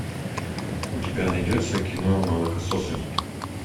у тебя найдется кино молокососы